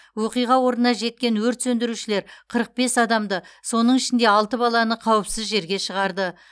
оқиға орнына жеткен өрт сөндірушілер қырық бес адамды соның ішінде алты баланы қауіпсіз жерге шығарды